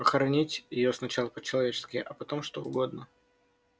похоронить её сначала по-человечески а потом что угодно